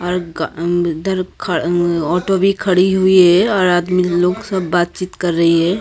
Auto भी खड़ी हुई है और आदमी लोग सब बातचीत कर रही है।